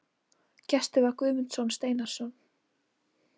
Gestur var Guðmundur Steinarsson.